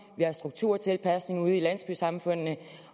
vi har strukturtilpasning ude i landsbysamfundene